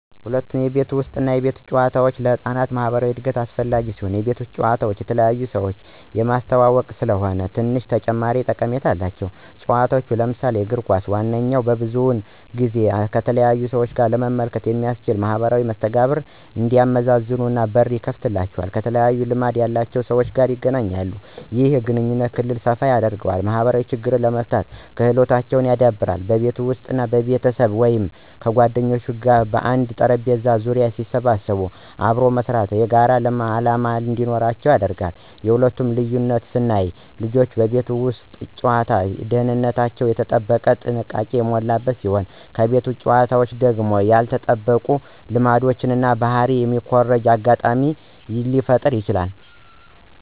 ሁለቱም የቤት ውስጥ እና የቤት ውጭ ጨዋታዎች ለህፃናት ማኅበራዊ እድገት አስፈላጊ ሲሆኑ፣ የቤት ውጭ ጨዋታ የተለያዩ ሰዎችን የሚያስተዋውቁ ስለሆኑ ትንሽ ተጨማሪ ጠቀሜታ አላቸው። ጨዋታዎች ለምሳሌ እግር ኳስ፣ መዋኛ ብዙውን ጊዜ ከተለያዩ ሁኔታ ለመመልከት የሚያስችሉ እና ማኅበራዊ መስተጋብሮችን እንዲያመዛዝኑ በር ይከፍትላቸዋል። ከተለያዩ ልምድ ያላቸው ሰዎች/ልጆች ጋር ይገናኛሉ። ይህም የግንኙነት ክልል ሰፋ ያደርገዋል። ማኅበራዊ ችግሮችን የመፍታት ክህሎታቸውን ያዳብራል። በቤት ውስጥ ቤተሰብ ወይም ጓደኞች በአንድ ጠረጴዛ ዙሪያ ሲሰበሰቡ አብሮ መስራት እና የጋራ ዓላማ እንዲኖራቸው ያደርጋል። የሁለቱ ልዩነት ስናየው ልጆች በቤት ውስጥ ሲጫወቱ ደህንነታቸው የተጠበቀ እና ጥንቃቄ የሞላበት ሲሆን ከቤት ውጭ መጫወቱ ደግሞ ያልተጠበቁ ልምዶችን እና ባህሪ የሚኮርጁበት አጋጣሚ ሊፈጠረ ይችላል።